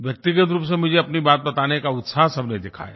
व्यक्तिगत रूप से मुझे अपनी बात बताने का उत्साह सबने दिखाया